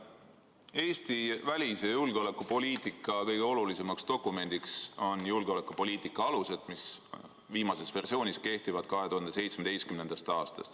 Eesti välis- ja julgeolekupoliitika kõige olulisem dokument on "Eesti julgeolekupoliitika alused", mis viimase versioonina kehtib 2017. aastast.